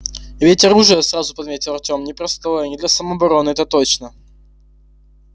и ведь оружие сразу подметил артём непростое не для самообороны это точно